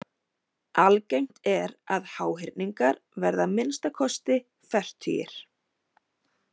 Algengt er að háhyrningar verði að minnsta kosti fertugir.